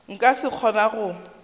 nka se sa kgona go